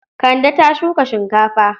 Kande ta shuka shinkafa.